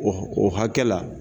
O o hakɛ la.